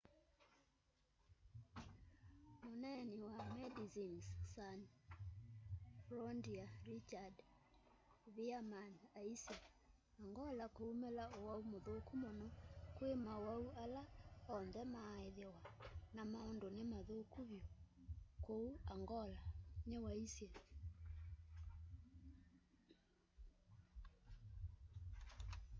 muneeni wa medecines sans frontiere richard veerman aisye angola kwiumila uwau muthuku muno kwi mauwau ala onthe maaithiwa na maundu ni mathuku vyu kuu angola ni waisye